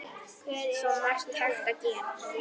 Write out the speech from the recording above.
Svo margt hægt að gera.